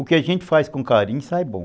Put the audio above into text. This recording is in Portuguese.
O que a gente faz com carinho sai bom.